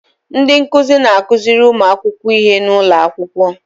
Ndị nkụzi na-akụziri ụmụ akwụkwọ ihe n'ụlọ akwụkwọ.